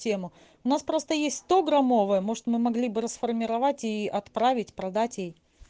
тема у нас просто есть сто граммовая может мы могли бы расформировать и отправить продать ей